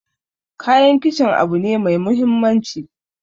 Kayan kicin abu ne mai muhimmanci